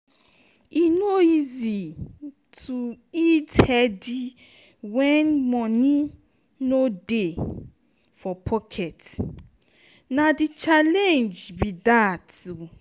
e no easy to eat healthy when money no dey for pocket; na di challenge be dat o.